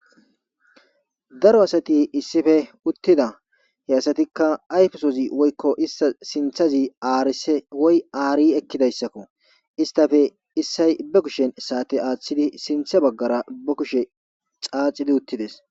Daaro asati issipe uutida issitsppe issoy sa'atte aaththidi ba kushshe xaaxi uttides.